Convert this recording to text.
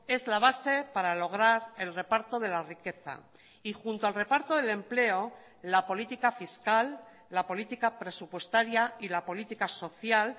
es la base para lograr el reparto de la riqueza y junto al reparto del empleo la política fiscal la política presupuestaria y la política social